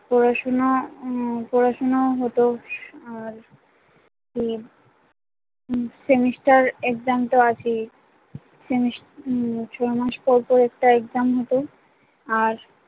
পড়াশোনা উম পড়াশোনাও হতো আর হম semester exam তো আছেই সেমিস উম ছয় মাস পর পর একটা exam হতো আর